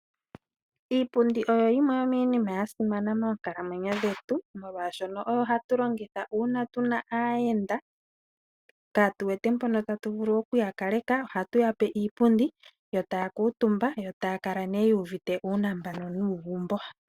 Iipundi oyo yimwe yomiinima yasimana monkalamwenyo dhetu molwashono oyo hatu longitha uuna tuna aayenda kaatu wete mpono tatu vulu oku yakaleka. Ohatu yape iipundi yo taakamutumba , yo taa kala nee yu uvite uunambano.